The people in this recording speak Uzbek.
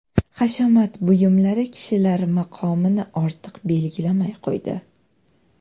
Hashamat buyumlari kishilar maqomini ortiq belgilamay qo‘ydi.